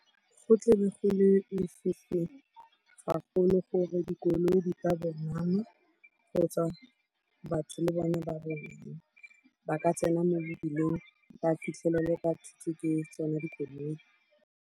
Go tle be go lefifi gagolo gore dikoloi di ka kgotsa batho le bone ba bone ba ka tsena mo mebileng ba fitlhelele ba thutswi ke tsone dikoloi.